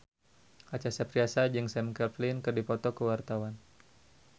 Acha Septriasa jeung Sam Claflin keur dipoto ku wartawan